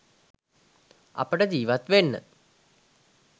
අපිට ජීවත් වෙන්න